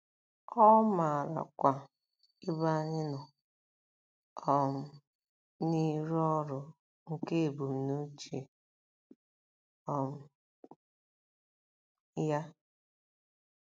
Ọ maarakwa ebe anyị nọ um n’ịrụ ọrụ nke ebumnuche um ya.